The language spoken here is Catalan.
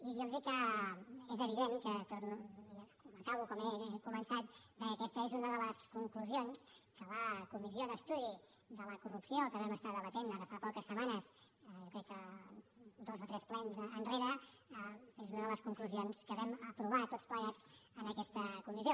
i dir los que és evident i acabo com he començat que aquesta és una de les conclusions que la comissió d’estudi contra la corrupció que vam estar debatent ara fa poques setmanes jo crec que dos o tres plens enrere és una de les conclusions que vam aprovar tots plegats en aquesta comissió